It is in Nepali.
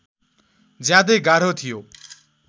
ज्यादै गाह्रो थियो